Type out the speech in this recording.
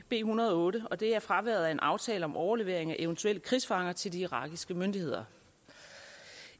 en hundrede og otte og det er fraværet af en aftale om overlevering af eventuelle krigsfanger til de irakiske myndigheder